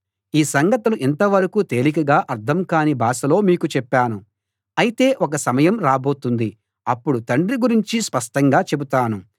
ఈ సంగతులు ఇంతవరకూ తేలికగా అర్థం కాని భాషలో మీకు చెప్పాను అయితే ఒక సమయం రాబోతుంది అప్పుడు తండ్రి గురించి స్పష్టంగా చెబుతాను